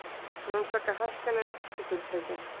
Rannsaka hækkanir orkufyrirtækja